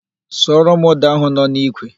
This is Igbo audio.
Suoro m ụ́dà ahụ nọ n'ikwe!